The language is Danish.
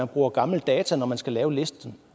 bruger gamle data når man skal lave listen